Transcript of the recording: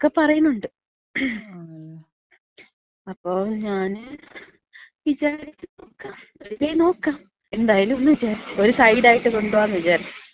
എന്നക്ക പറയണുണ്ട്. അപ്പൊ ഞാന് വിചാരിച്ച് നോക്കാം. ഒരു കൈ നോക്കാം എന്തായാലുംന്ന് വിചാരിച്ച്. ഒര് സൈഡായിട്ട് കൊണ്ട് പോകാംന്ന് വിചാരിച്ച്.